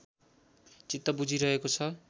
चित्त बुझिरहेको छ